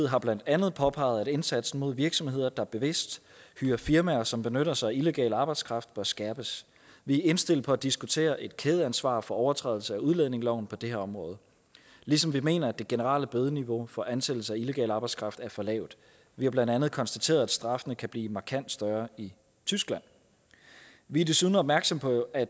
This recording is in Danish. har blandt andet påpeget at indsatsen mod virksomheder der bevidst hyrer firmaer som benytter sig af illegal arbejdskraft bør skærpes vi er indstillet på at diskutere et kædeansvar for overtrædelse af udlændingeloven på det her område ligesom vi mener at det generelle bødeniveau for ansættelse af illegal arbejdskraft er for lavt vi har blandt andet konstateret at straffene kan blive markant større i tyskland vi er desuden opmærksomme på at